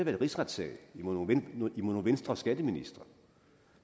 en rigsretssag imod nogle venstreskatteministre